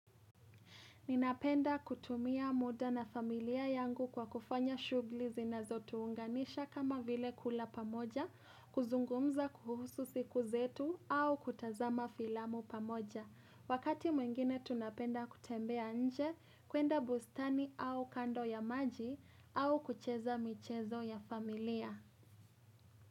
Ninapenda kutumia muda na familia yangu kwa kufanya shughuli zinazo tuunganisha kama vile kula pamoja, kuzungumza kuhusu siku zetu au kutazama filamu pamoja. Wakati mwingine tunapenda kutembea nje, kuenda bustani au kando ya maji au kucheza michezo ya familia.